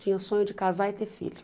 Tinha sonho de casar e ter filho.